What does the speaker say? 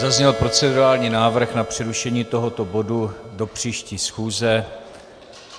Zazněl procedurální návrh na přerušení tohoto bodu do příští schůze.